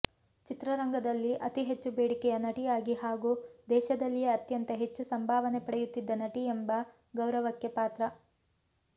ಚಿತ್ರರಂಗದಲ್ಲಿ ಅತಿ ಹೆಚ್ಚು ಬೇಡಿಕೆಯ ನಟಿಯಾಗಿ ಹಾಗೂ ದೇಶದಲ್ಲಿಯೇ ಅತ್ಯಂತ ಹೆಚ್ಚು ಸಂಭಾವನೆ ಪಡೆಯುತ್ತಿದ್ದ ನಟಿ ಎಂಬ ಗೌರವಕ್ಕೆ ಪಾತ್ರ